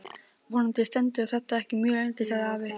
Vonandi stendur þetta ekki mjög lengi sagði afi.